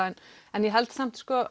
en ég held samt